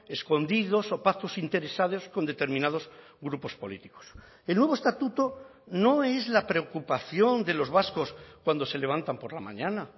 escondidos o pactos interesados con determinados grupos políticos el nuevo estatuto no es la preocupación de los vascos cuando se levantan por la mañana